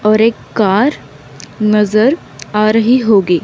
और एक कार नजर आ रही होगी।